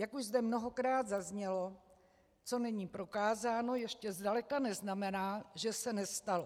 Jak už zde mnohokrát zaznělo, co není prokázáno, ještě zdaleka neznamená, že se nestalo.